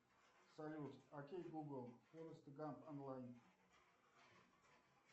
салют окей гугл форест гамп онлайн